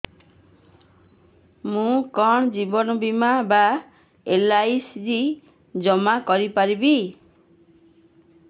ମୁ କଣ ଜୀବନ ବୀମା ବା ଏଲ୍.ଆଇ.ସି ଜମା କରି ପାରିବି